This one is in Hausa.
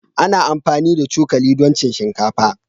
Ana amfani da cokali don cin shinkafa.